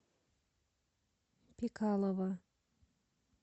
пикалова